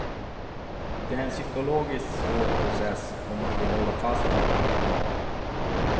Det är en psykologiskt svår process och man vill hålla fast vid vad man har.